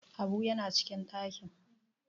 habu yana cikin dakin!